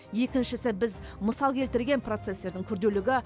екіншісі біз мысал келтірген процестердің күрделілігі